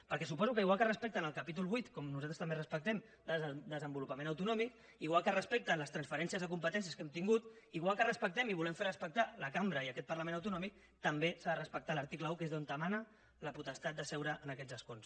perquè suposo que igual que respecten el títol viii com nosaltres també respectem de desenvolupament autonòmic igual que respecten les transferències de competències que hem tingut igual que respectem i volem fer respectar la cambra i aquest parlament autonòmic també s’ha de respectar l’article un que és d’on emana la potestat de seure en aquests escons